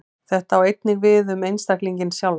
Þetta á einnig við um einstaklinginn sjálfan.